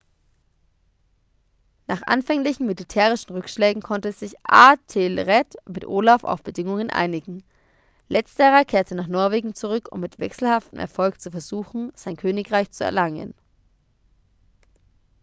nach anfänglichen militärischen rückschlägen konnte sich æthelred mit olaf auf bedingungen einigen. letzterer kehrte nach norwegen zurück um mit wechselhaftem erfolg zu versuchen sein königreich zu erlangen